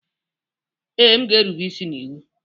Ee, m ga-erube isi n'iwu